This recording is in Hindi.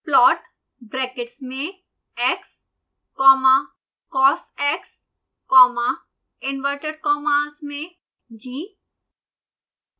plot ब्रैकेट्स में x comma cosx comma inside inverted commas g